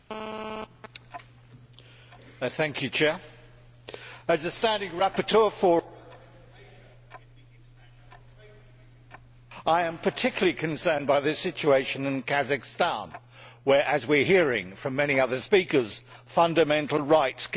Mr President, as the standing rapporteur for I am particularly concerned by the situation in Kazakhstan where, as we are hearing from many other speakers, fundamental rights continue to be violated.